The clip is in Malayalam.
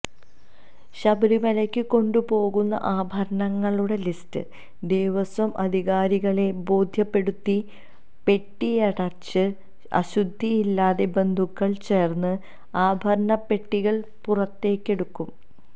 ശബരിമലയ്ക്കു കൊണ്ടുപോകുന്ന ആഭരണങ്ങളുടെ ലിസ്റ്റ് ദേവസ്വം അധികാരികളെ ബോദ്ധ്യപ്പെടുത്തി പെട്ടിയടച്ച് അശുദ്ധിയില്ലാത്ത ബന്ധുക്കൾ ചേർന്ന് ആഭരണപ്പെട്ടികൾ പുറത്തേക്കെടുക്കും